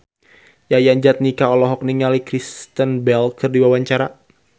Yayan Jatnika olohok ningali Kristen Bell keur diwawancara